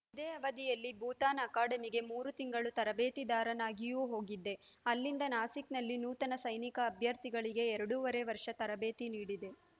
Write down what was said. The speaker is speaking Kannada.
ಇದೇ ಅವಧಿಯಲ್ಲಿ ಭೂತಾನ್‌ ಅಕಾಡೆಮಿಗೆ ಮೂರು ತಿಂಗಳು ತರಬೇತಿದಾರನಾಗಿಯೂ ಹೋಗಿದ್ದೆ ಅಲ್ಲಿಂದ ನಾಸಿಕ್‌ನಲ್ಲಿ ನೂತನ ಸೈನಿಕ ಅಭ್ಯರ್ಥಿಗಳಿಗೆ ಎರಡೂವರೆ ವರ್ಷ ತರಬೇತಿ ನೀಡಿದೆ